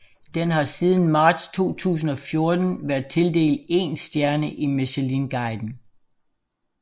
Den har siden marts 2014 været tildelt én stjerne i Michelinguiden